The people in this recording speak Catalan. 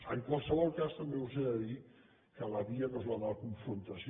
en qualsevol cas també us he de dir que la via no és la de la confrontació